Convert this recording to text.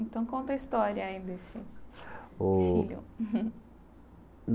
Então, conta a história aí desse, Ô filho.